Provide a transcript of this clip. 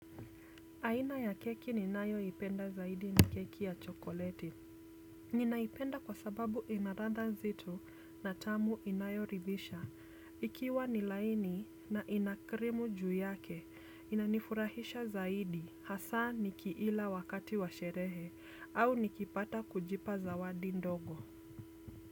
Aina ya keki ni nayo ipenda zaidi ni keki ya chokoleti. Ninaipenda kwa sababu inaradha nzito na tamu inayoridhisha. Ikiwa nilaini na inakrimu juu yake, inanifurahisha zaidi hasa nikiila wakati wa sherehe au nikipata kujipa zawadi ndogo.